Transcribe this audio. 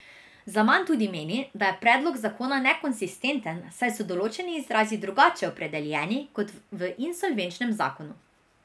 Zaman tudi meni, da je predlog zakona nekonsistenten, saj da so določeni izrazi drugače opredeljeni kot v insolvenčnem zakonu.